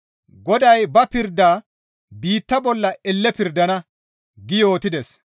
Goday ba pirdaa biitta bolla elle pirdana» gi yootides.